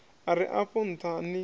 a re afho ntha ni